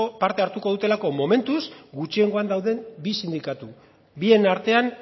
parte hartuko dutelako momentuz gutxiengoan dauden bi sindikatu bien artean